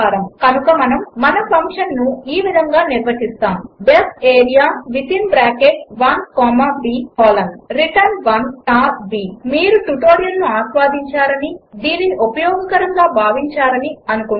కనుక మనము మన ఫంక్షన్ను ఈ విధంగా నిర్వచిస్తాము D E F area within bracket l comma b colon return l star b మీరు ఈ ట్యుటోరియల్ ఆస్వాదించారని దీనిని ఉపయోగకరముగా భావించారనీ అనుకుంటున్నాము